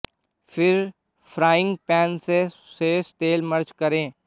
फिर frying pan से शेष तेल मर्ज करें